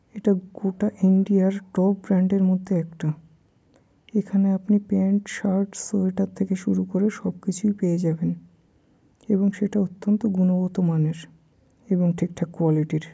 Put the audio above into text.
এটা গোটা ইন্ডিয়া -র টপ ব্র্যান্ড এর মধ্যে একটা এখানে আপনি প্যান্ট শার্ট সোয়েটার থেকে শুরু করে সবকিছুই পেয়ে যাবেন এবং সেটা অতন্ত গুণগত মানের এবং ঠিকঠাক কোয়ালিটি -র।